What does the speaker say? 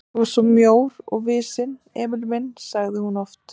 Þú ert svo mjór og visinn, Emil minn sagði hún oft.